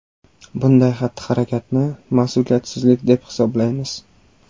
Bunday xatti-harakatni ‘mas’uliyatsizlik’ deb hisoblaymiz.